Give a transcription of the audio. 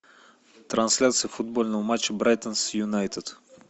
трансляция футбольного матча брайтон с юнайтед